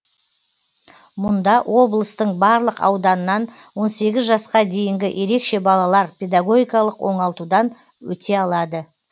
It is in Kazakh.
мұнда облыстың барлық ауданнан он сегіз жасқа дейінгі ерекше балалар педагогикалық оңалтудан өте алады